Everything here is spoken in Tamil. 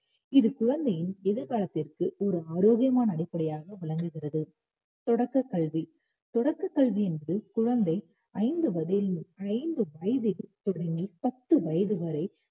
இது குழந்தையின் எதிர்காலத்திற்கு ஒரு ஆரோக்கியமான அடிப்படையாக விளங்குகிறது தொடக்கக் கல்வி. தொடக்கக் கல்வி என்பது குழந்தை ஐந்து வயதில்~ வயதில் தொடங்கி பத்து வயது வரை